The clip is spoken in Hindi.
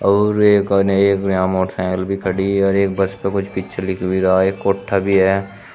और एक अनेक यहां मोटरसाइकिल भी खड़ी है और एक बस पे कुछ पिक्चर दिख भी रहा है एक कोट्ठा भी है।